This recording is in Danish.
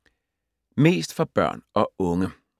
Mest for børn og unge